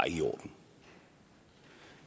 i orden